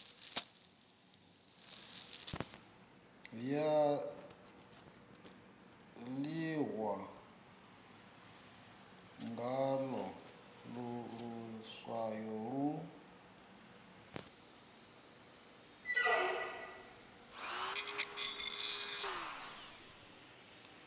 ya ḓihwa ngaḽo luswayo lu